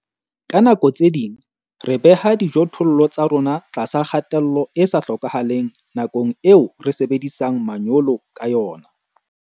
Ka nako tse ding re beha dijothollo tsa rona tlasa kgatello e sa hlokahaleng nakong eo re sebedisang manyolo ka yona.